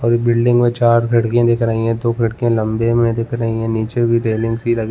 और बिल्डिंग में चार खिड़कियाँ दिख रही है दो खिड़कियाँ लम्बे में दिख रही है निचे भी रेलिंगस सी लगी --